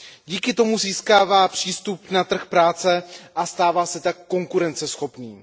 Díky tomu získává přístup na trh práce, a stává se tak konkurenceschopným.